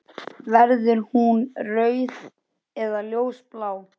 Verður hún rauð eða ljósblá?